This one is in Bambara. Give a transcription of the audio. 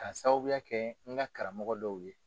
Ka sababuya kɛ n ka karamɔgɔ dɔw ye.